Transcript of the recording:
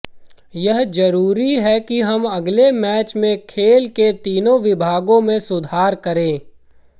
यह जरूरी है कि हम अगले मैच में खेल के तीनों विभागों में सुधार करें